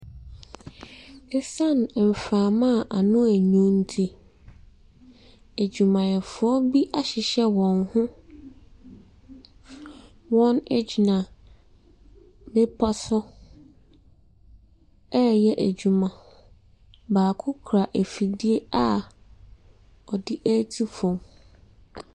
Ɛsan mframa ano yɛ winu ne nti, adwumayɛfoɔ bi ahyehyɛ wɔn ho. Wɔgyina bepɔ so ɛreyɛ adwuma. Baako kura afidie a ɔde ɛretu fam.